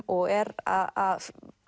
og er að